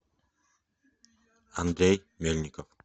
андрей мельников